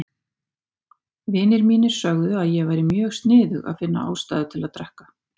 Vinir mínir sögðu að ég væri mjög sniðug að finna ástæðu til að drekka.